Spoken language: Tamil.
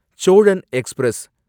சோழன் எக்ஸ்பிரஸ்